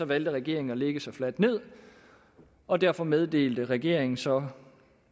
valgte regeringen at lægge sig fladt ned og derfor meddelte regeringen så